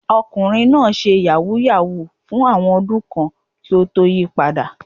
Ọkùnrin náà ṣe yàhú yàhú fún àwọn ọdún kan kí ó tó yí padà.